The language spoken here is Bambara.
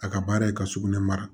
A ka baara ye ka sugunɛ mara